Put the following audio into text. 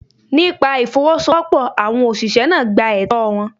Nípa Ìfowọ́sowọ́pọ̀, àwọn ọ̀ṣìṣẹ́ náà gba ẹtọ́ọ wọn.